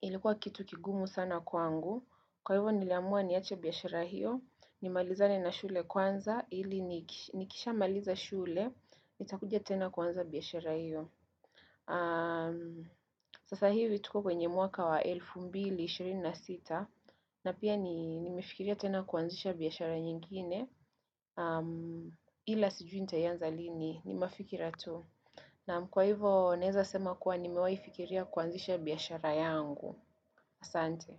ilikuwa kitu kigumu sana kwangu Kwa hivyo niliamua niache biyashara hiyo nimalizane na shule kwanza ili nikisha maliza shule nitakuja tena kwanza biyashara hiyo Sasa hivi tuko kwenye mwaka wa 2026 na pia nimefikiria tena kuanzisha biyashara nyingine Hila sijui nitayanza lini ni mafikira tu Naam kwa hivo neza sema kuwa ni mewai fikiria kuanzisha biyashara yangu asante.